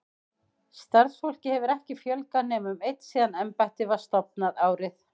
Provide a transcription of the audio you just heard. Starfsfólki hefur ekki fjölgað nema um einn síðan embættið var stofnað, árið